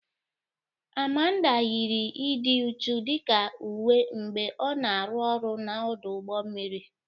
Amanda yiri ịdị uchu dịka uwe mgbe ọ na-arụ ọrụ na ọdụ ụgbọ mmiri.